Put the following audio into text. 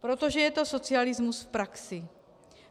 Protože je to socialismus v praxi.